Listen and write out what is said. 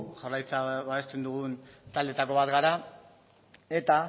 jaurlaritza babesten dugun taldeetako bat gara eta